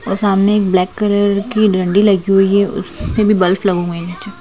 वो सामने black colour की डंडी लगी हुई है उसमें भी बल्फ बल्ब लगा हुआ है नीचे।